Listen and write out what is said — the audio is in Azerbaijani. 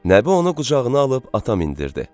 Nəbi onu qucağına alıb ata mindirdi.